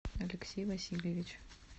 алексей васильевич